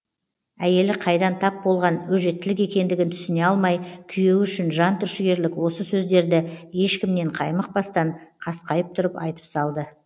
әйелі қайдан тап болған өжеттілік екендігін түсіне алмай күйеуі үшін жан түршігерлік осы сөздерді ешкімнен қаймықпастан қасқайып тұрып айтып салды